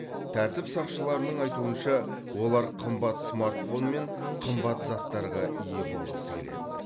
тәртіп сақшыларының айтуынша олар қымбат смартфон мен қымбат заттарға ие болғысы келеді